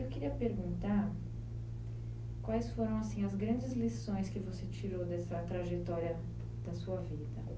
Eu queria perguntar quais foram assim, as grandes lições que você tirou dessa trajetória da sua vida?